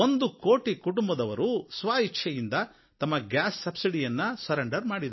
ಒಂದು ಕೋಟಿ ಕುಟುಂಬದವರು ಸ್ವಯಿಚ್ಛೆಯಿಂದ ತಮ್ಮ ಗ್ಯಾಸ್ ಸಬ್ಸಿಡಿಯನ್ನು ಬಿಟ್ಟುಕೊಟ್ಟಿದ್ದಾರೆ